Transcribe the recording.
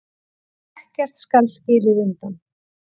Ekkert skal skilið undan.